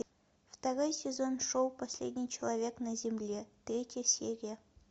второй сезон шоу последний человек на земле третья серия